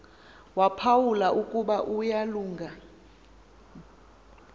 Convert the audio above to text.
waphawula ukuba uyalunga